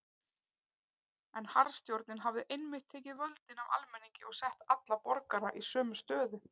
En harðstjórnin hafði einmitt tekið völdin af almenningi og sett alla borgara í sömu stöðu.